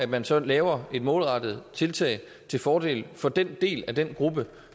man så laver et målrettet tiltag til fordel for den del af den gruppe